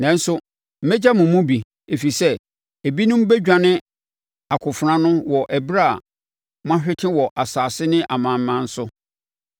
“ ‘Nanso mɛgya mo mu bi, ɛfiri sɛ ebinom bɛdwane akofena ano wɔ ɛberɛ a moahwete wɔ nsase ne amanaman so.